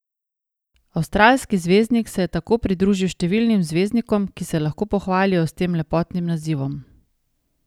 Avstralski zvezdnik se je tako pridružil številnim zvezdnikom, ki se lahko pohvalijo s tem lepotnim nazivom.